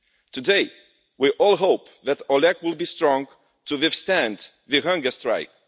Today, we all hope that Oleg will be strong enough to withstand the hunger strike.